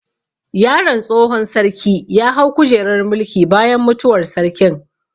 Yaron tsohon sarki ya hau kujerar mulki bayan mutuwar sarkin